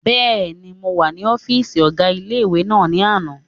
Bẹ́ẹ̀ni, mo wà ní ọ́fìsì ọgá ilé-ìwé náà ní àná